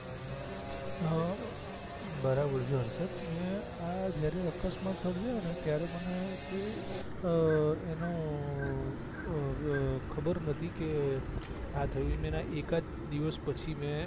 અ બરાબર છે હર્ષદ મેં આ જયારે અકસ્માત સર્જાયો ત્યારે મને કોઈ અ એનો ખબર નથી કે આ થયું છે મેં એના એકાદ દિવસ પછી મેં